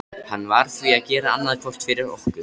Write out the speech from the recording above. Hann varð því að gera annað hvort fyrir okkur.